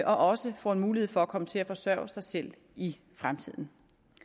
også får en mulighed for at komme til at forsørge sig selv i fremtiden